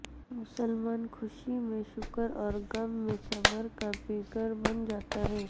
مسلمان خوشی میں شکر اور غم میں صبر کا پیکر بن جاتا ہے